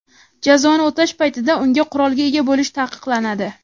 jazoni o‘tash paytida unga qurolga ega bo‘lish taqiqlanadi.